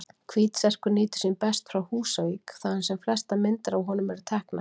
Hvítserkur nýtur sín best frá Húsavík, þaðan sem flestar myndir af honum eru teknar.